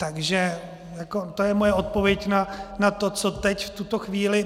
Takže to je moje odpověď na to, co teď, v tuto chvíli...